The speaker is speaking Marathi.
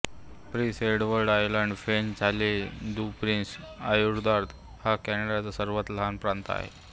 प्रिन्स एडवर्ड आयलंड फ्रेंच इले दु प्रिन्स एदुआर्द हा कॅनडाचा सर्वात लहान प्रांत आहे